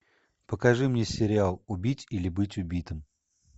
покажи мне сериал убить или быть убитым